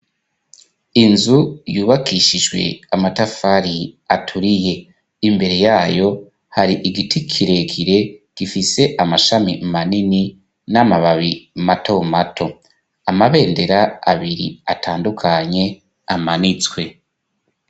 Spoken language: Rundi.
Inzu yubakishijwe amatafari aturiye imbere yayo hari igiti kirekire gifise amashami manini n'amababi mato mato amabendera abiri atandukanye amanitswe.